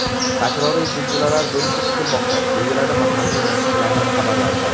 Takroriy zilzilalar bo‘lishi kutilmoqda, deyiladi mahalliy nashrlarning xabarlarida.